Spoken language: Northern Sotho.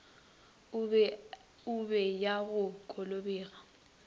e be ya go kobega